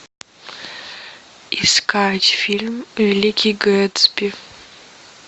искать фильм великий гэтсби